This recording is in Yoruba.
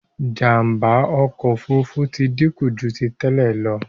Jàmbá ọkọ òfurufú tí dínkù jù tí tèlé ló.